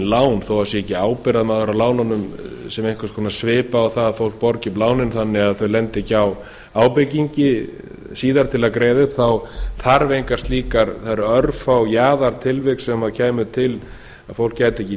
lán þó það sé ekki ábyrgðarmaður að lánunum sem einhvers konar svipa á að fólk borgi upp lánin þannig að þau lendi ekki á ábekingi síðar til að greiða upp það eru örfá jaðartilvik sem kæmu til að fólk gæti